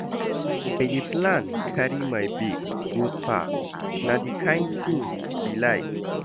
I dey plan carry my babe go spa, na di kain tin she like.